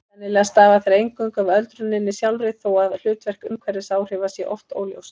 Sennilega stafa þær eingöngu af öldruninni sjálfri þó að hlutverk umhverfisáhrifa sé oft óljóst.